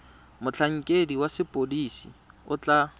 motlhankedi wa sepodisi o tla